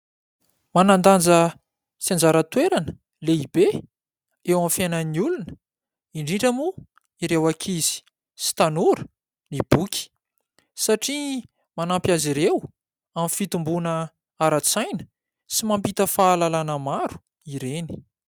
Manan-danja sy anjara toerana lehibe eo amin'ny fiainan'ny olona, indrindra moa ireo ankizy sy tanora ny boky satria manampy azy ireo amin'ny fitomboana ara-tsaina sy mampita fahalalàna maro ireny.